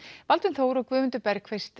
Baldvin Þór og Guðmundur